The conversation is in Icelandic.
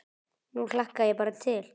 Nú hlakka ég bara til.